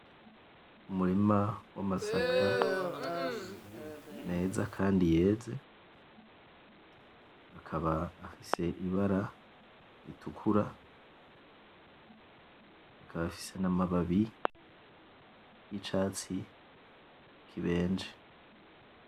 Umurima wamasaka meza kandi yeze akaba afise ibara ritukura akaba afise namababi yicatsi kibenje